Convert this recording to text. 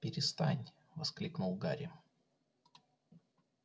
перестань воскликнул гарри